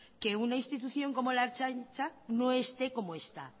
que una institución como la ertzaintza no esté como está